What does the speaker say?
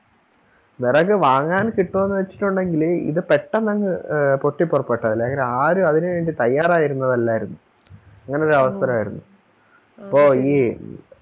വെറക് വാങ്ങാൻ കിട്ടുവൊന്ന് വെച്ചിട്ടുണ്ടെങ്കില് ഇത് പെട്ടന്നങ് പൊട്ടിപ്പൊറപ്പെട്ടതല്ലേ അല്ലെങ്കിൽ ആരും അതിനു വേണ്ടി തയ്യാറായിരുന്നതല്ലായിരുന്നു അങ്ങനെയൊരവസരവായിരുന്നു അപ്പൊ ഈ